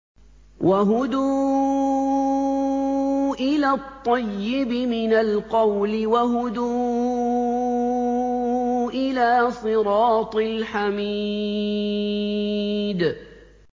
وَهُدُوا إِلَى الطَّيِّبِ مِنَ الْقَوْلِ وَهُدُوا إِلَىٰ صِرَاطِ الْحَمِيدِ